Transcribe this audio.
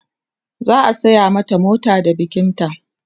za'a saya mata mota da bikin ta